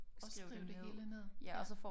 Og skrive det hele ned ja